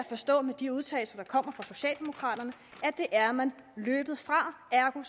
forstå af de udtalelser der kommer fra socialdemokraterne at det er man løbet fra ergo